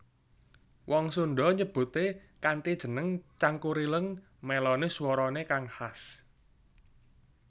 Wong Sunda nyebuté kanthi jeneng Cangkurileung mèloni suwarané kang khas